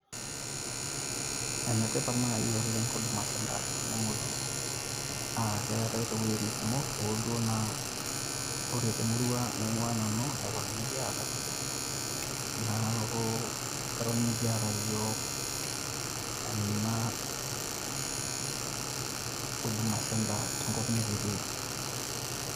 Ene tipat naaji oleng huduma center tenemutu aa keetae too wuejitin kumok. Hoo duo naa ore te murua naing`uaa nanu neton mikiata naaku eton mikiata iyiok ena huduma center tenkop nikitii.